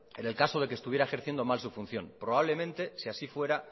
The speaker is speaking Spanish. en el caso de que estuviera ejerciendo mal su función probablemente si así fuera